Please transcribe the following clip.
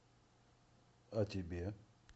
а тебе